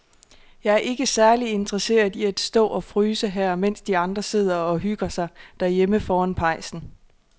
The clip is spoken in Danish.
Jeg er ikke særlig interesseret i at stå og fryse her, mens de andre sidder og hygger sig derhjemme foran pejsen.